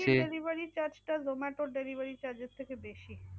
swiggy এর delivery charge টা zomato র delivery charge এর থেকে বেশি।